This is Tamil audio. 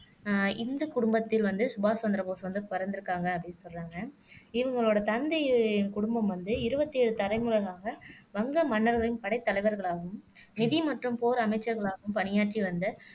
அஹ் இந்து குடும்பத்தில் வந்து சுபாஷ் சந்திரபோஸ் வந்து பிறந்து இருக்காங்க அப்படின்னு சொல்றாங்க இவங்களோட தந்தையின் குடும்பம் வந்து இருபத்தி ஏழு தலைமுறைகளாக வங்க மன்னர்களின் படைத் தலைவர்களாகவும் நிதி மற்றும் போர் அமைச்சர்களாகவும் பணியாற்றி வந்த